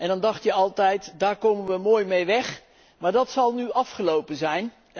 En dan dacht je altijd daar komen we mooi mee weg, maar dat zal nu afgelopen zijn.